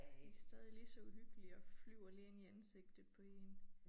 De stadig ligså uhyggelige og flyver lige ind i ansigtet på én